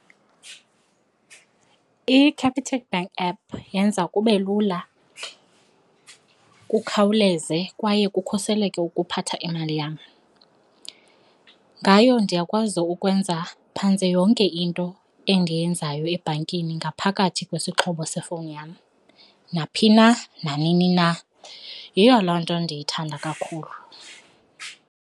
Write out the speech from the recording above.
ICapitec Bank app yenza kube lula kukhawuleze kwaye kukhuseleke ukuphatha imali yam. Ngayo ndiyakwazi ukwenza phantse yonke into endiyenzayo ebhankini ngaphakathi kwesixhobo sefowunini yam naphi na, nanini na. Yiyo loo nto ndiyithanda kakhulu.